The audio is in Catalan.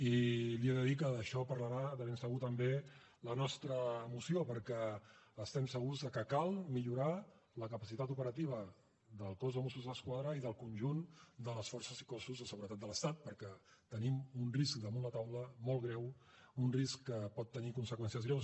i li he de dir que d’això parlarà de ben segur també la nostra moció perquè estem segurs que cal millorar la capacitat operativa del cos de mossos d’esquadra i del conjunt de les forces i cossos de seguretat de l’estat perquè tenim un risc damunt la taula molt greu un risc que pot tenir conseqüències greus